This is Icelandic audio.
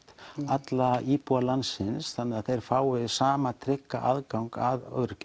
alla íbúa landsins þannig að þeir fái sama trygga aðgang að